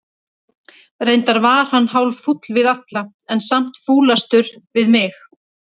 Reyndar var hann hálffúll við alla, en samt fúlastur við mig.